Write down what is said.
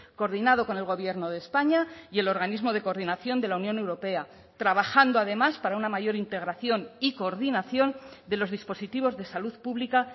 coordinado con el gobierno de españa y el organismo de coordinación de la unión europea trabajando además para una mayor integración y coordinación de los dispositivos de salud pública